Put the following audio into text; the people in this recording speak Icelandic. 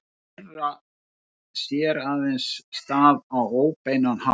Þeirra sér aðeins stað á óbeinan hátt.